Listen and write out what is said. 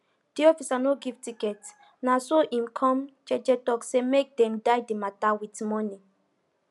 de officer no give ticket na so hin come jeje tok say make dem die de mata with monie